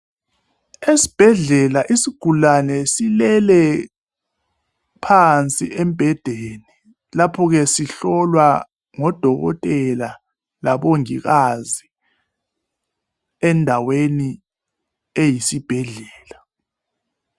Esibhedlela isigulane silele phansi embhedeni lapho ke sihlolwa ngodokotela labomongikazi endaweni eyisibhedlela.